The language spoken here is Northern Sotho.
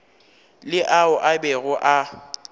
le ao a bego a